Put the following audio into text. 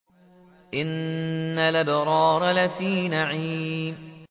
إِنَّ الْأَبْرَارَ لَفِي نَعِيمٍ